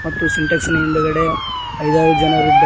ಮತ್ತು ಸಿಂಟ್ಯಾಕ್ಸಿನ ಹಿಂದ್ಗಡೆ ಐದಾರು ಜನರಿದ್ದಾ--